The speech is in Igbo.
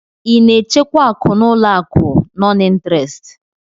Ị na-echekwa akụ n'ụlọ akụ nọn ịntrestị?